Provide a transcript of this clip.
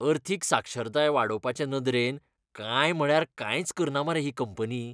अर्थीक साक्षरताय वाडोवपाचे नदरेन कांय म्हळ्यार कांयच करना मरे ही कंपनी!